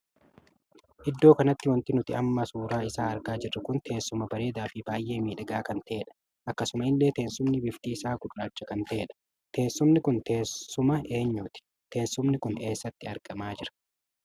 Iddoo kanatti wanti nuti amma suuraa isaa jirru kun teessuma bareedaa fi baay'ee miidhagaa kan tahedha. akkasuma illee teessumni bifti isaa gurraacha kan tahedha. teessumni kun teessuma eenyuti? teessumni kun eessatti argamaa jira?